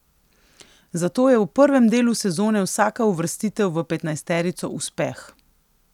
Zato je v prvem delu sezone vsaka uvrstitev v petnajsterico uspeh.